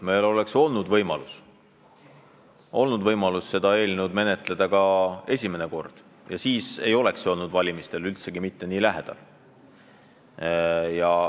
Meil oleks olnud võimalus seda eelnõu edasi menetleda ka esimene kord ja siis ei oleks see olnud valimistele üldsegi mitte nii lähedal.